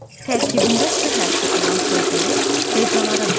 Tərkibində s hərfi olan sözləri hecalara bölək.